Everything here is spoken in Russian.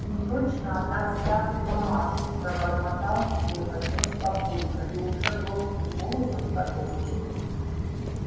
не точно она вся в мамашу пробормотал себе под нос папулька и уже громким голосом продолжил